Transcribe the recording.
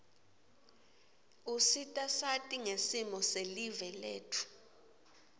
usita sati ngesimo silive letfu